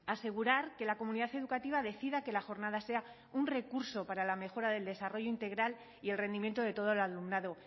asegurar que la comunidad educativa decida que la jornada sea un recurso para la mejora del desarrollo integral y el rendimiento de todo el alumnado